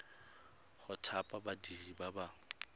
go thapa badiri ba ba